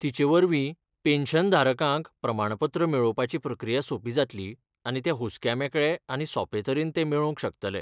तिचे वरवीं पेन्शन धारकांक प्रमाणपत्र मेळोवपाची प्रक्रिया सोपी जातली आणि ते हुस्क्या मेकळे आनी सोपे तरेन तें मेळोवंक शकतले.